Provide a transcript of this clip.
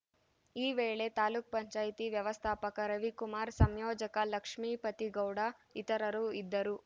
ಈ ವೇಳೆ ತಾಲೂಕ್ ಪಂಚಾಯತಿ ವ್ಯವಸ್ಥಾಪಕ ರವಿಕುಮಾರ್‌ ಸಂಯೋಜಕ ಲಕ್ಷ್ಮೀಪತಿಗೌಡ ಇತರರು ಇದ್ದರು